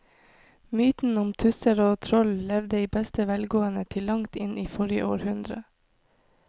Mytene om tusser og troll levde i beste velgående til langt inn i forrige århundre.